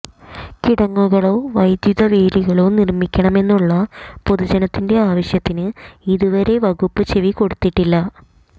കിടങ്ങുകളോ വൈദ്യുതവേലികളോ നിര്മ്മിക്കണമെന്നുളള പൊതുജനത്തിന്റെ ആവശ്യത്തിന് ഇതുവരെ വകുപ്പ് ചെവി കൊടുത്തിട്ടില്ല